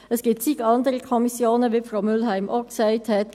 Es gibt zig andere Kommissionen, wie Frau Mühlheim ebenfalls gesagt hat.